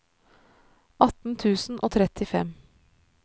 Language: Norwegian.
atten tusen og trettifem